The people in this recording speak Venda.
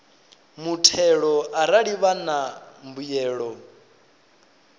muthelo arali vha na mbuyelo